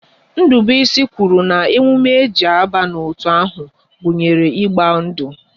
Ndubuisi kwuru na emume e ji aba n'otu ahụ gunyere ịgba ndu